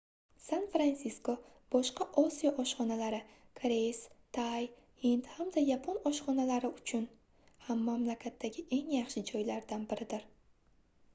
san-fransisko boshqa osiyo oshxonalari koreys tay hind hamda yapon oshxonalari uchun ham mamlakatdagi eng yaxshi joylardan biridir